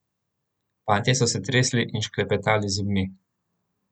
Fantje so se tresli in šklepetali z zobmi.